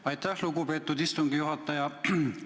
Aitäh, lugupeetud istungi juhataja!